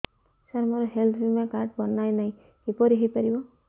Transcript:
ସାର ମୋର ହେଲ୍ଥ ବୀମା କାର୍ଡ ବଣାଇନାହିଁ କିପରି ହୈ ପାରିବ